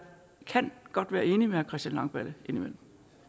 kan godt være enig med herre christian langballe indimellem